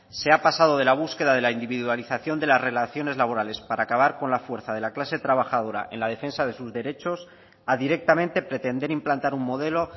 se ha pasado de la búsqueda de la individualización de las relaciones laborales para acabar con la fuerza de la clase trabajadora en la defensa de sus derechos a directamente pretender implantar un modelo